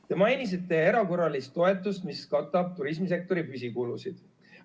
Te mainisite erakorralist toetust, mis katab turismisektori püsikulusid.